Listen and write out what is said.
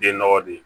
Den nɔgɔ de